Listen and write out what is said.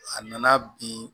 A nana bin